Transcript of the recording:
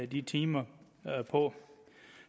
de timer på